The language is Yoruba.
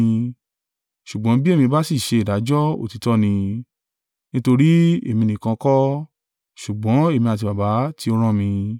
Ṣùgbọ́n bí èmi bá sì ṣe ìdájọ́, òtítọ́ ni, nítorí èmi nìkan kọ́, ṣùgbọ́n èmi àti Baba tí ó rán mi.